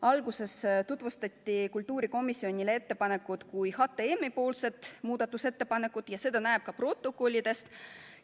Alguses tutvustati kultuurikomisjonile ettepanekut kui HTM-i muudatusettepanekut ja seda näeb ka protokollidest.